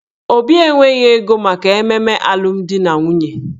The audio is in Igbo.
Obi enweghị ego maka ememe alụmdi na nwunye